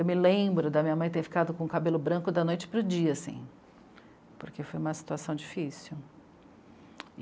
Eu me lembro de a minha mãe ter ficado com o cabelo branco da noite para o dia, assim, porque foi uma situação difícil.